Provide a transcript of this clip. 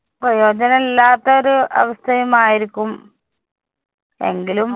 പ്രയോജനമില്ലാത്ത ഒരു അവസ്ഥയുമായിരിക്കും. എങ്കിലും